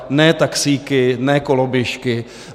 Ne taxíky, ne koloběžky.